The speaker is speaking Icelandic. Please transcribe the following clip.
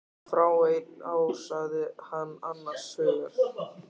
Fáein ár sagði hann annars hugar.